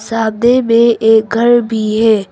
सामने में एक घर भी है।